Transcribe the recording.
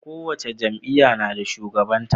Kowace jam'iya nada shugaban ta